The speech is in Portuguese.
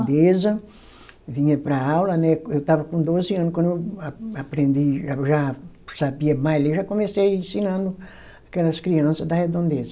Vinha para a aula, né, eu estava com doze anos, quando eu a aprendi, já, já sabia mais ler, já comecei ensinando aquelas criança da Redondeza.